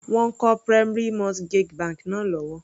Wọ́n ń kọ́ primary mortgage bank náà lọ́wọ́.